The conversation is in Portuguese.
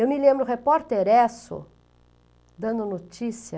Eu me lembro, o repórter Esso, dando notícia...